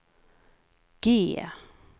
G